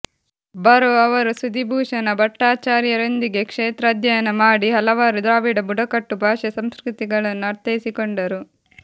ಬರೋ ಅವರು ಸುದೀಭೂಷಣ ಭಟ್ಟಾಚಾರ್ಯರೊಂದಿಗೆ ಕ್ಷೇತ್ರಾಧ್ಯಯನ ಮಾಡಿ ಹಲವಾರು ದ್ರಾವಿಡ ಬುಡಕಟ್ಟು ಭಾಷೆ ಸಂಸ್ಕೃತಿಗಳನ್ನು ಅರ್ಥೈಸಿಕೊಂಡರು